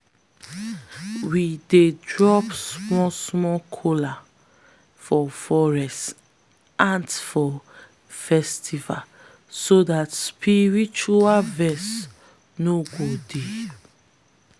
we dey drop small small kola for forest ants for festivals so dat spiritual vex no go dey.